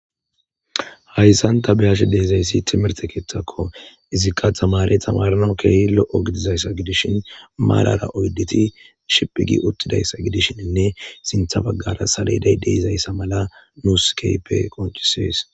Haysan ta be'ashe dizaysi timirte kethako izika tamarey tamaranawu kehi lo'o gidizaysa gidishin marara oydati shiphi gi utidaysa gidishininne sinte bagara saleday de'izaysa mala nusi kehipe qonc'ises.